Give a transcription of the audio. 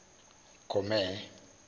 comere